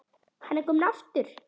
Hann er kominn aftur!